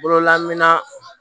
Bololaminɛ